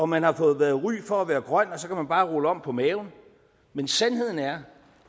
man har fået ry for at være grøn og så kan man bare rulle om på maven men sandheden er